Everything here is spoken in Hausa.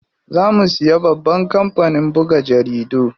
Za mu siya babban kampanin buga jaridu.